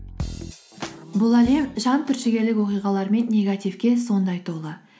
бұл әлем жан түршігелік мен негативке сондай толы